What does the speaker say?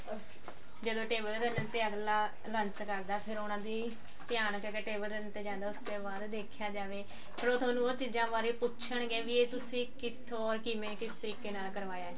ਜਦੋਂ table ਤੇ ਅਗਲਾ lunch ਕਰਦਾ ਫ਼ੇਰ ਉਹਨਾ ਦੀ ਧਿਆਨ ਜਿਹੜਾ table ਦੇ ਉੱਤੇ ਜਾਂਦਾ ਉਸ ਤੇ ਬਾਅਦ ਦੇਖਿਆ ਜਾਵੇ ਫ਼ੇਰ ਥੋਨੂੰ ਉਹ ਚੀਜ਼ਾਂ ਬਾਰੇ ਪੁੱਛਣਗੇ ਵੀ ਇਹ ਤੁਸੀਂ ਕਿੱਥੋਂ ਕਿਵੇਂ ਕਿਸ ਤਰੀਕੇ ਨਾਲ ਕਰਵਾਇਆ